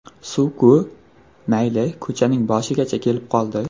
Suvku, mayli ko‘chaning boshigacha kelib qoldi.